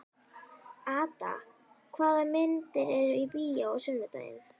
Ada, hvaða myndir eru í bíó á sunnudaginn?